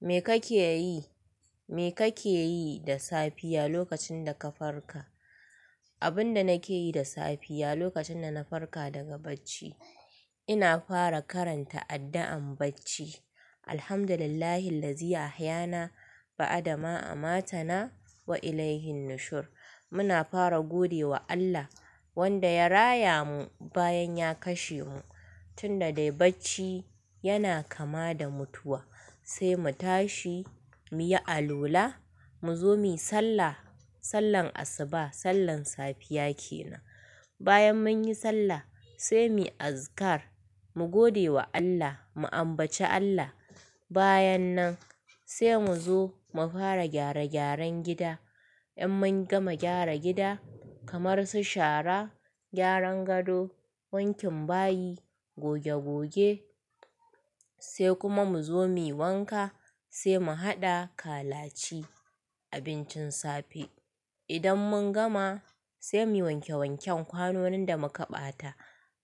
Me kake yi, me kake yi da safiya lokacin da ka farka? Abin da nake yi da safiya lokacin da na farka daga bacci, ina fara karanta addu'an bacci "Alhamdulillahi ladzi ahayana ba'da ma amatana wa ilaihi nushur". Muna fara gode wa Allah wanda ya raya mu bayan ya kashe mu, tunda dai bacci yana kama da mutuwa. Sai mu tashi, mu yi alwala, mu zo mu yi sallah, sallar asuba, sallar safiya kenan. Bayan mun yi sallah sai mu yi azikar, mu gode wa Allah, mu ambaci Allah. Bayan nan sai mu zo mu fara gyare gyaran gida. In mun gama gyara gida kamar su shara, gyaran gado, wankin bayi, goge goge sai kuma mu zo mu yi wanka sai mu haɗa kalaci, abincin safe. Idan mun gama sai mu wanke wanken kwanonin da muka ɓata.